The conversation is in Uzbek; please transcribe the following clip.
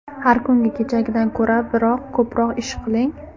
Har kuni kechagidan ko‘ra biroz ko‘proq ish qiling.